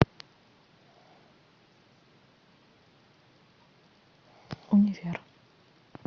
универ